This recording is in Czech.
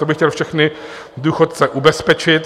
To bych chtěl všechny důchodce ubezpečit.